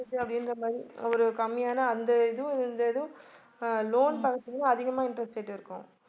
அப்படின்ற மாதிரி ஒரு கம்மியான அந்த இதுவும் இந்த இதுவும் அஹ் loan பாத்தீங்கன்னா அதிகமா interest rate இருக்கும